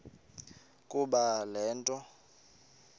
ukuba le nto